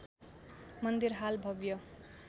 मन्दिर हाल भव्य